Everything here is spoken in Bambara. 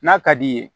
N'a ka d'i ye